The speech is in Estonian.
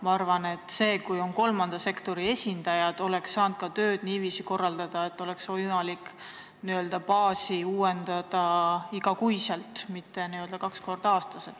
Ma arvan, et kui sellega tegelevad kolmanda sektori esindajad, ka siis saaks tööd niimoodi korraldada, et oleks võimalik n-ö baasi uuendada iga kuu, mitte kaks korda aastas.